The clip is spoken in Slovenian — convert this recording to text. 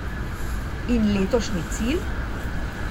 In letošnji cilj?